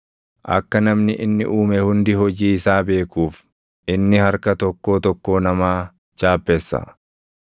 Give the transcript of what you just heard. Akka namni inni uume hundi hojii isaa beekuuf, inni harka tokkoo tokkoo namaa chaappessa.